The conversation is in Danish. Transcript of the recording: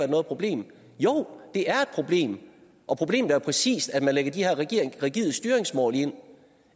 noget problem jo det er et problem og problemet er præcis at man lægger de her rigide styringsmål